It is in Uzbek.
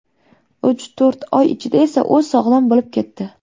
Uch-to‘rt oy ichida esa u sog‘lom bo‘lib ketdi.